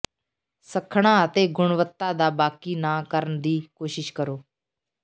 ਸੱਖਣਾ ਅਤੇ ਗੁਣਵੱਤਾ ਦਾ ਬਾਕੀ ਨਾ ਕਰਨ ਦੀ ਕੋਸ਼ਿਸ਼ ਕਰੋ